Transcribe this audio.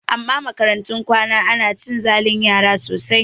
A makarantun kwana ana cin zalin yara sosai